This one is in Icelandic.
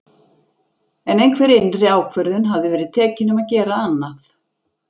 En einhver innri ákvörðun hafði verið tekin um að gera annað.